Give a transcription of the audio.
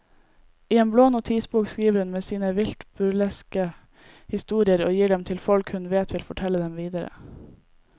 I en blå notisbok skriver hun ned sine vilt burleske historier og gir dem til folk hun vet vil fortelle dem videre.